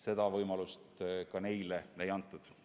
Selgitamiseks neile võimalust ei antud.